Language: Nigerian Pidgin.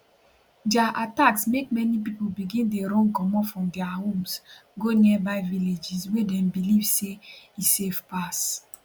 dia attacks make many pipo begin dey run comot from dia homes go nearby villages wey dem believe say e safe pass